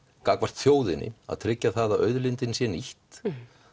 gagnvart þjóðinni að tryggja það að auðlindin sé nýtt